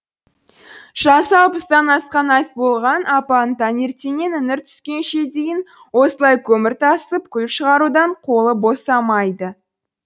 жасы алпыстан асқан айболған апаның таңертеңнен іңір түскенше дейін осылай көмір тасып күл шығарудан қолы босамайды